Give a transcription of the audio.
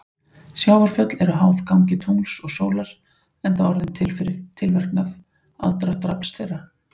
Sjávarföll eru háð gangi tungls og sólar enda orðin til fyrir tilverknað aðdráttarafls þeirra.